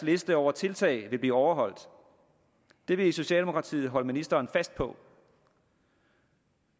liste over tiltag vil blive overholdt det vil socialdemokratiet holde ministeren fast på